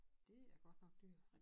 Det er godt nok dyrt